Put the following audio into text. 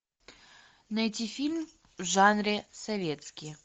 найти фильм в жанре советские